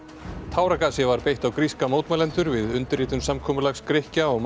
táragasi var beitt á gríska mótmælendur við undirritun samkomulags Grikkja og